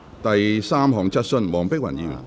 第三項質詢。